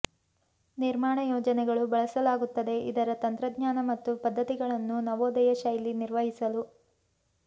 ನಿರ್ಮಾಣ ಯೋಜನೆಗಳು ಬಳಸಲಾಗುತ್ತದೆ ಇದರ ತಂತ್ರಜ್ಞಾನ ಮತ್ತು ಪದ್ದತಿಗಳನ್ನು ನವೋದಯ ಶೈಲಿ ನಿರ್ವಹಿಸಲು